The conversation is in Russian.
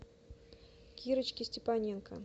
кирочке степаненко